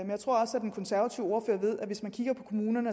den konservative ordfører ved at hvis man kigger på kommunerne